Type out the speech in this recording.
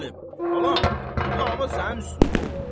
Qasım Əli, balam, bu dava sənin üstündə olub.